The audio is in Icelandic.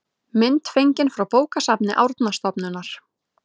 mynd fengin frá bókasafni árnastofnunar